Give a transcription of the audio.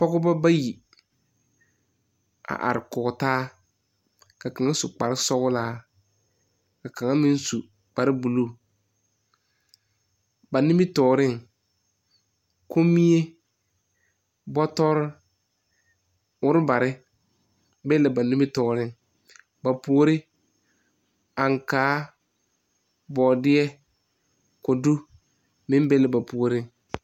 pɔgeba bayi a are kɔɔtaa, ka kaŋa su kpaar sɔllaa, ka kaŋa meŋ su kpaar blue ba nimi tɔreŋ, komie bɔtɔɔre, ɔɔrebare biŋ la ba nimi tɔɔreŋ, ba pori, ankaa, bɔɔdeɛ, kodu meŋ be la ba puoriŋ